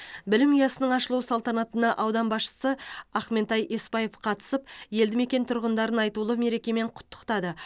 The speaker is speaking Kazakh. білім ұясының ашылу салтанатына аудан басшысы ақментай есбаев қатысып елді мекен тұрғындарын айтулы мерекемен құттықтады